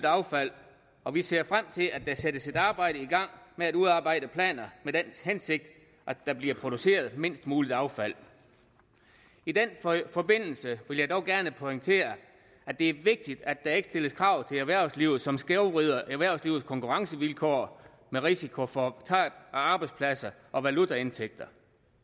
affald og vi ser frem til at der sættes et arbejde i gang med at udarbejde planer med den hensigt at der bliver produceret mindst muligt affald i den forbindelse vil jeg dog gerne pointere at det er vigtigt at der ikke stilles krav til erhvervslivet som skævvrider erhvervslivets konkurrencevilkår med risiko for tab af arbejdspladser og valutaindtægter